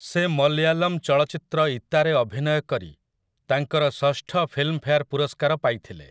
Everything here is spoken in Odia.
ସେ ମଲୟାଲମ୍ ଚଳଚ୍ଚିତ୍ର 'ଇତା'ରେ ଅଭିନୟ କରି ତାଙ୍କର ଷଷ୍ଠ ଫିଲ୍ମଫେୟାର୍ ପୁରସ୍କାର ପାଇଥିଲେ ।